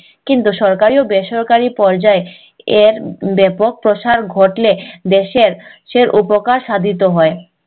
কিন্তু সরকারি ও বেসরকারি পর্যায় এর ব্যাপক প্রসার ঘটলে দেশের উপকার সাধিত হয়